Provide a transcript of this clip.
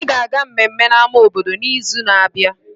Anyị ga-aga mmemme na ama obodo n'izu na-abịa